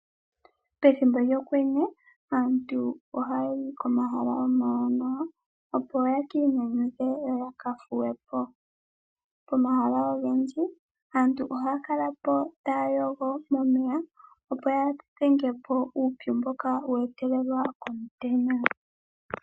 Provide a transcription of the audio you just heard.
Pethimbo lyokwenye aantu ohaayi komahala omawanawa opo yaki inyanyudhe yo ya kathuwe po. Pomahala ogendji aantu ohaya kala po taya yogo momeya opo ya dhenge po uupyu mboka wa etelelwa komutenya.